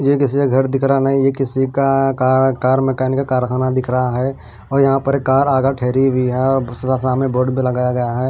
किसी का घर दिख रहा नहीं यह किसी का कार मैकेनिक का कारखाना दिख रहा है और यहां पर एक कार आगा ठहरी हुई है और सामने बोट भी लगाया गया है।